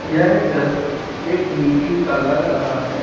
यह दृश्य एक मीटिंग का लग रहा है।